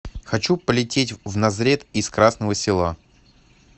хочу полететь в назрет из красного села